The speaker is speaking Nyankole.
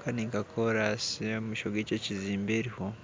kandi omumaisho gy'ekyo kizimbe eriho